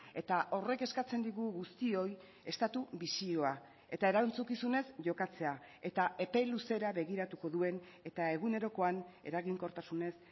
eta horrek eskatzen digu guztioi estatu bisioa eta erantzukizunez jokatzea eta epe luzera begiratuko duen eta egunerokoan eraginkortasunez